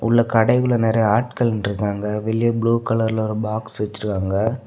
உள்ள கடைக்குள்ள நெறைய ஆட்கள் நின்னுட்டு இருக்காங்க வெளியே ப்ளூ கலர்ல ஒரு பாக்ஸ் வச்சிருக்காங்க.